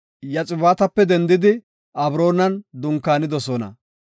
Yoxibaatape dendidi Abroonan dunkaanidosona.